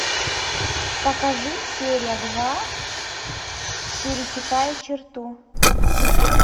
покажи серия два пересекая черту